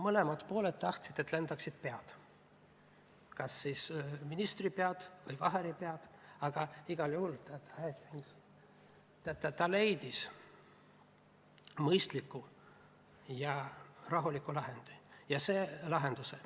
Mõlemad pooled tahtsid, et lendaksid pead, kas siis ministri pea või Vaheri pea, aga igal juhul ta leidis mõistliku ja rahuliku lahenduse.